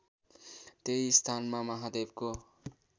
त्यही स्थानमा महादेवको